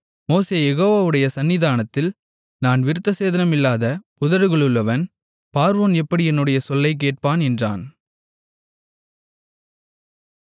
மோசே யெகோவாவுடைய சந்நிதானத்தில் நான் விருத்தசேதனமில்லாத உதடுகளுள்ளவன் பார்வோன் எப்படி என்னுடைய சொல்லைக் கேட்பான் என்றான்